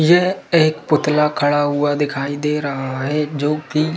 यह एक पुतला खड़ा हुआ दिखाई दे रहा है जो कि--